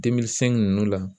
ninnu la